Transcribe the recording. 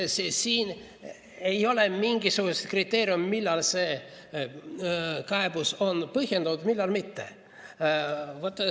Nii et siin ei ole mingit kriteeriumi, millal see kaebus on põhjendatud ja millal mitte.